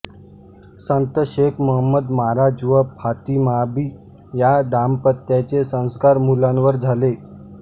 संत शेख महंमद महाराज व फातीमाबी या दांपत्याचे संस्कार मुलांवर झाले